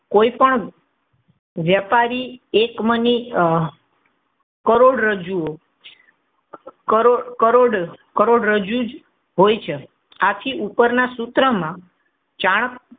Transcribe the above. કોઈપણ વ્યાપારી એકમની કરોડરજ્જુ કરોડ કરોડરજ્જુ જ હોય છે. આથી ઉપરના સૂત્રમાં ચાણક્ય,